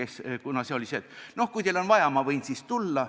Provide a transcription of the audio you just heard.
See oli selline, et noh, kui teil on vaja, eks ma võin siis tulla.